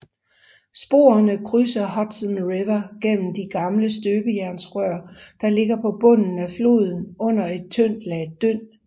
Sporene krydser Hudson River gennem de gamle støbejernsrør der ligger på bunden af floden under et tyndt lag dynd